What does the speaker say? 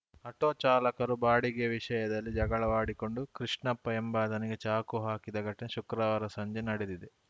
auto ಚಾಲಕರು ಬಾಡಿಗೆ ವಿಷಯದಲ್ಲಿ ಜಗಳವಾಡಿಕೊಂಡು ಕೃಷ್ಣಪ್ಪ ಎಂಬಾತನಿಗೆ ಚಾಕು ಹಾಕಿದ ಘಟನೆ ಶುಕ್ರವಾರ ಸಂಜೆ ನಡೆದಿದೆ